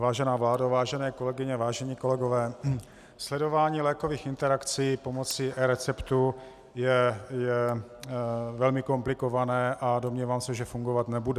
Vážená vládo, vážené kolegyně, vážení kolegové, sledování lékových interakcí pomocí receptů je velmi komplikované a domnívám se, že fungovat nebude.